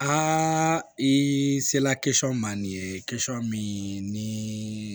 Aa i sela ma nin ye min ni